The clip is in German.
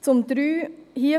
Zum Punkt 3: